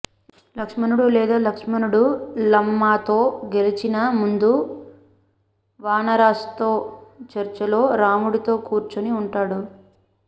లక్ష్మణుడు లేదా లక్ష్మణుడు లంమాతో గెలిచిన ముందు వానరాస్తో చర్చలో రాముడితో కూర్చొని ఉంటారు